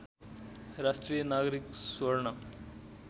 राष्ट्रिय नागरिक स्वर्ण